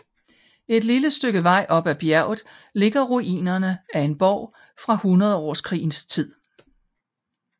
Et lille stykke vej oppe ad bjerget ligger ruinerne af en borg fra hundredårskrigens tid